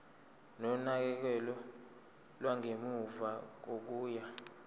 nonakekelo lwangemuva kokuya